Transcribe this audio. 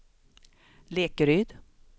Lekeryd